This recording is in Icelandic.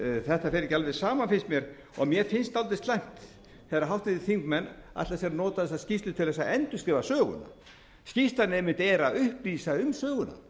þetta fer ekki alveg saman finnst mér og mér finnst dálítið slæmt þegar háttvirtir þingmenn ætla að nota þessa skýrslu til að endurskrifa söguna skýrslan er einmitt að upplýsa um söguna